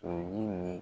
O yiri